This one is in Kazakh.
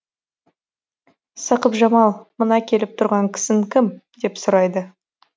сақыпжамал мына келіп тұрған кісің кім деп сұрайды